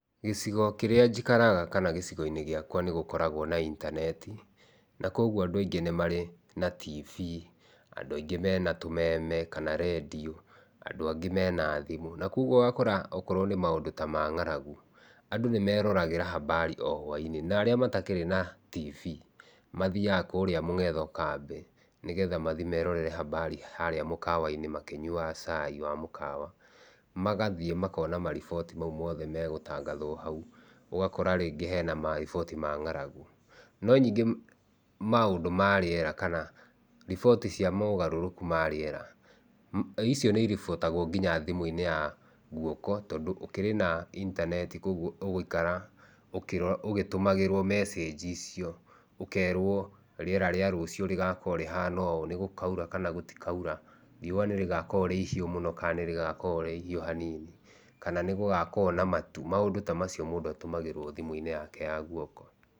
Gĩcigo kĩrĩa njikaraga kana gĩcigo-inĩ gĩakwa nĩ gũkoragwo na itaneti na kwoguo andũ aingĩ nĩ marĩ na TV, andũ aingĩ mena tũmeme kana rĩndiũ andũ angĩ mena thimũ. Na kwoguo ũgakora okorwo nĩ maũndũ ta mang'aragu, andũ nĩmeroragĩra habari o hwaĩinĩ na arĩa matakĩrĩ na TV, mathiaga kũrĩa mũng'etho kambĩ nĩgetha mathiĩ merorere hambari harĩa mũkawa-inĩ makĩnyuaga cai wa mũkawa, magathiĩ makona mariboti mau mothe me gũtangathwo hau. ũgakora rĩngĩ hena mariboti ma ng'aragu. No ningĩ maũndũ ma rĩera kana riboti cia mogarũrũku ma rĩera, icio nĩ igũbuatagwo kinya thimũ-inĩ ya guoko tondũ gũkĩrĩ na itaneti kũu ũgũikara ũgĩtũmagĩrwo mecanji ici ũkerwo rĩera rĩa rũciũ rĩgakorwo rĩhana ũũ, nĩgũkaura kana gũtikaura, riũa nĩrĩgakorwo rĩ igiũ mũno kana nĩ rĩgakorwo rĩ ihiũ hanini, kana nĩ gũgakorwo na matu. Maũndũ ta macio mũndũ atũmagĩrwo thimũ-inĩ yake ya guoko.